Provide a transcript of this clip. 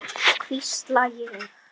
hvísla ég.